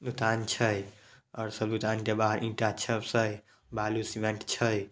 दुकान छय और के बाहर ईटा च सब छय बालू सीमेंट छय।